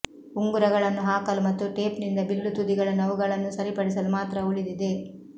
ಉಂಗುರಗಳನ್ನು ಹಾಕಲು ಮತ್ತು ಟೇಪ್ನಿಂದ ಬಿಲ್ಲು ತುದಿಗಳನ್ನು ಅವುಗಳನ್ನು ಸರಿಪಡಿಸಲು ಮಾತ್ರ ಉಳಿದಿದೆ